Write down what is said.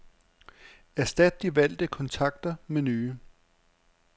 Erstat de valgte kontakter med nye.